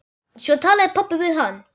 Svo talaði pabbi við hann.